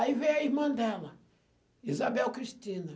Aí veio a irmã dela, Isabel Cristina.